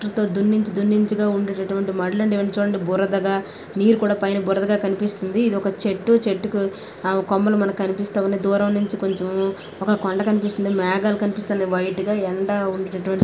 దున్నించి దున్నించిగా ఉండేటటువంటి మడులు అండి ఇవ్వని చూడండి బురదగా నీరు కూడ పైన బురదగా కనిపిస్తుంది. ఇది ఒక చెట్టు చెట్టికి ఆమ్ కొమ్మలు మనకి కనిపిస్తా ఉన్నాయి. దూరం నుంచి కొంచెం ఒక కొండ కనిపిస్తుంది మేఘాలు కనిపిస్తునాయి వైట్ గా ఎండ ఉండేటటువంటే--